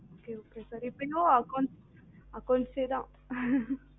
okay okay sir இப்போ இன்னும் accounts accounts ஏ தான் உம்